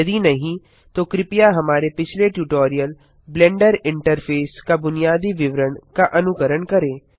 यदि नहीं तो कृपया हमारे पिछले ट्यूटोरियल ब्लेंडर इंटरफेस का बुनियादी विवरण का अनुकरण करें